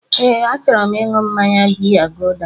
Ee, achọrọ m ịṅụ mmaya biya guuda